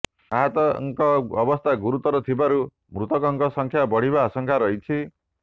ଆହତଙ୍କ ଅବସ୍ଥା ଗୁରୁତର ଥିବାରୁ ମୃତକଙ୍କ ସଂଖ୍ୟା ବଢ଼ିବା ଆଂଶଙ୍କା ରହିଛି